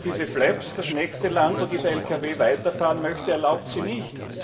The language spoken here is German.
erlaubt diese flaps das nächste Land, in dem dieser Lkw weiterfahren möchte, erlaubt sie nicht.